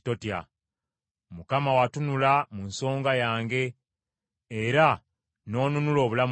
Mukama watunula mu nsonga yange, era n’onunula obulamu bwange.